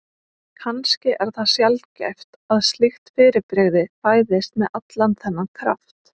Kannski er það sjaldgæft að slíkt fyrirbrigði fæðist með allan þennan kraft.